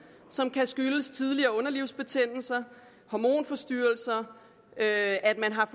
som kan skyldes tidligere underlivsbetændelser hormonforstyrrelser at at man har